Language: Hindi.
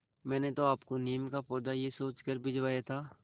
मैंने तो आपको नीम का पौधा यह सोचकर भिजवाया था